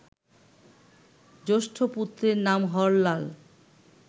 জ্যেষ্ঠ পুত্রের নাম হরলাল